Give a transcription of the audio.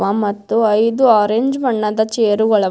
ಪಾ- ಮತ್ತು ಐದು ಆರೆಂಜ್ ಬಣ್ಣದ ಚೇರು ಗಳವ.